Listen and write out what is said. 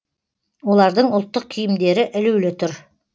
олардың ұлттық киімдері ілулі тұр